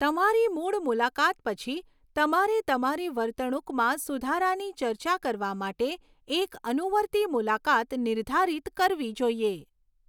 તમારી મૂળ મુલાકાત પછી, તમારે તમારી વર્તણૂકમાં સુધારાની ચર્ચા કરવા માટે એક અનુવર્તી મુલાકાત નિર્ધારિત કરવી જોઈએ.